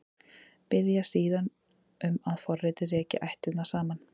Biðja síðan um að forritið reki ættirnar saman.